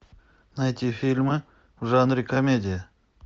найти фильмы в жанре комедия